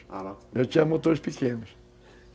Eu tinha motores pequenos.